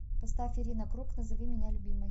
поставь ирина круг назови меня любимой